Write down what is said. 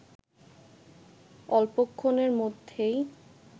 অল্পক্ষণের মধ্যেই